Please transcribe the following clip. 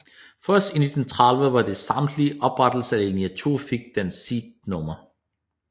Først i 1930 ved den samtidige oprettelse af linje 2 fik den sit nummer